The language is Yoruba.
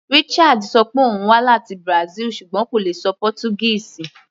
Richard ṣọ pé òun wá láti Brazil ṣùgbọ́n kò lè ṣọ Pọ́túgíìsì.